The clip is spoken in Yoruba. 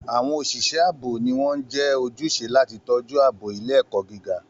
Àwọn òṣìṣẹ́ ààbò ni wọ́n jẹ́ ojúṣe láti tọ́jú ààbò ilé-ẹ̀kọ́ gíga.